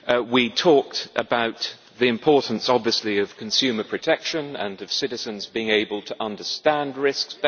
We talked about the importance, obviously, of consumer protection and of citizens being better able to understand risks.